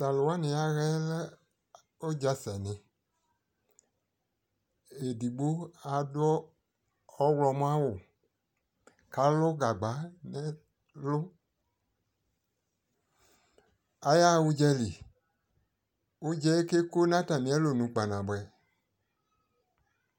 to alo wani yahaɛ lɛ udza sɛni edigbo ado ɔwlɔmɔ awu ko alu gagba no ɛlo ayaha udzali udzaɛ ke ko no atame alonu kpanaboe